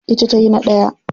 Ita tayi na daya.